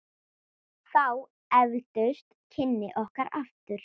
Þá efldust kynni okkar aftur.